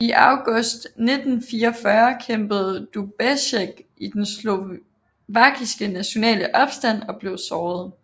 I august 1944 kæmpede Dubček i den slovakiske nationale opstand og blev såret